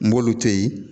N b'olu to yen